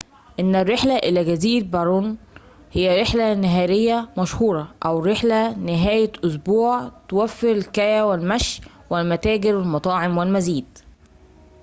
إن الرحلة إلى جزيرة باون هى رحلة نهارية مشهورة أو رحلة نهاية أسبوع توفر الكاياك والمشي والمتاجر والمطاعم والمزيد